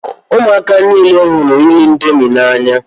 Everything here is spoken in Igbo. Ụmụaka niile hụrụ ịrị índomi na- anya.